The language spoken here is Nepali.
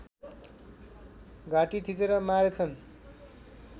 घाँटी थिचेर मारेछन्